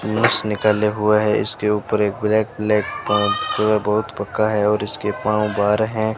धनुष निकाले हुआ है इसके ऊपर एक ब्लैक ब्लैक बहुत पक्का है और इसके पांव बाहर हैं।